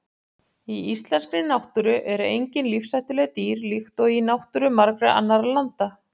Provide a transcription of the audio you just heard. Í íslenskri náttúru eru engin lífshættuleg dýr líkt og í náttúru margra annarra landa.